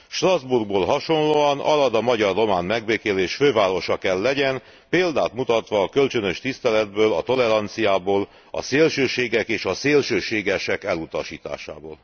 Strasbourghoz hasonlóan Arad a magyar román megbékélés fővárosa kell legyen, példát mutatva a kölcsönös tiszteletből, a toleranciából, a szélsőségek és a szélsőségesek elutasításából.